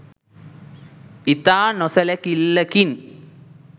ඉතා නොසැලිකිල්ලකින්